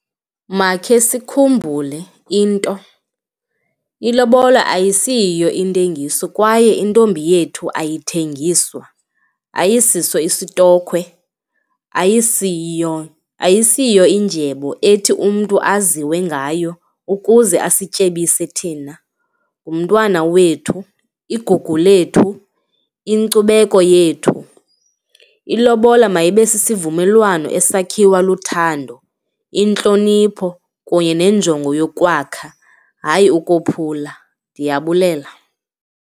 Makhe sikhumbule into, ilobola ayisiyiyo intengiso kwaye intombi yethu ayithengeswa, ayisiso isitokhwe, ayisiyiyo indyebo ethi umntu aziwengayo ukuze asityebise thina. Ngumntwana wethu, igugu lethu, inkcubeko yethu. Ilobola mayibe sisivumelwano esakhiwe luthando, intlonipho kunye nenjongo yokwakha, hayi, ukophula, ndiyabulela.